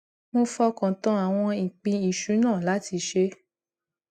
mo fọkàn tán àwọn ìpín ìṣúná láti ṣe